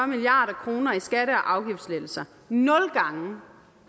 milliard kroner i skatte og afgiftslettelser nul gange